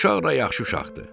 Uşaq da yaxşı uşaqdır.